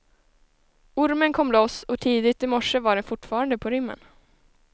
Ormen kom loss och tidigt i morse var den fortfarande på rymmen.